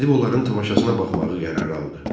Gedib onların tamaşasına baxmağı qərara aldı.